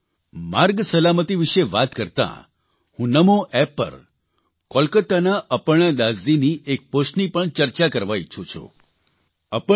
સાથીઓ માર્ગ સલામતિ વિશે વાત કરતાં હું નમો એપ પર કોલકતાના અપર્ણા દાસજીની એક પોસ્ટની પણ ચર્ચા કરવા ઇચ્છું છું